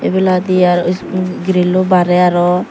ibenot hi aro is um grilloi barey aro.